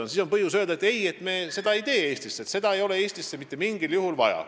Kui kõike on uuritud, siis on põhjust öelda: ei, me ei tee seda Eestisse, Eestil ei ole seda mitte mingil juhul vaja.